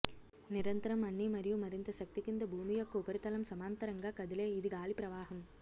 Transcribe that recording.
నిరంతరం అన్ని మరియు మరింత శక్తి కింద భూమి యొక్క ఉపరితలం సమాంతరంగా కదిలే ఇది గాలి ప్రవాహం